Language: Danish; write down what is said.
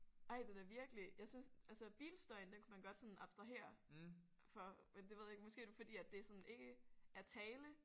Ej det er da virkelig jeg synes altså bilstøjen den kunne man godt sådan abstrahere for men det ved jeg ikke måske er det fordi det sådan ikke er tale